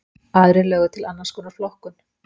aðrir lögðu til annars konar flokkun